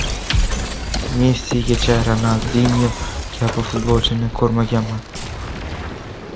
Messigacha Ronaldinyo kabi futbolchini ko‘rmaganman”.